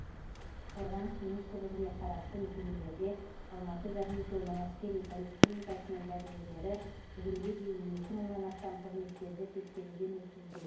қорғаныс министрлігіне қарасты мекемелерде алматы горнизоны әскери поликлиникасының дәрігерлері бүгінге дейін екі мыңнан астам қызметкерді тексеруден өткізген